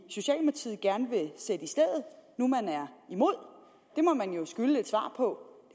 stedet nu man er imod det må man jo skylde et svar på